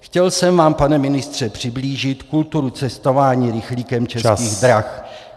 Chtěl jsem vám, pane ministře, přiblížit kulturu cestování rychlíkem Českých drah.